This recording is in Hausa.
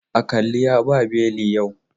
Aƙali ya ba belin yau.